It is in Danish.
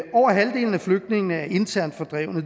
flygtningene er internt fordrevne og